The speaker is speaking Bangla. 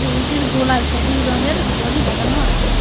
গরুটির গলায় সবুজ রঙের দড়ি বাঁধানো আছে।